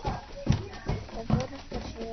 Það borgar sig ekki